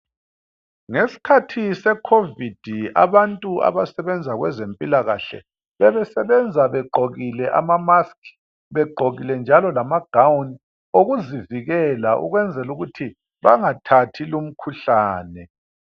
Ngesikhathi se Covid abantu abasebenza kwezempilakahle bebesebenza begqokile ama mask begqokile njalo lama gown okuzivikela ukwenzela ukuthi bangathathi lumkhuhlane.